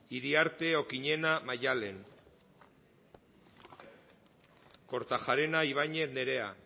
iriarte okiñena maddalen kortajarena ibañez nerea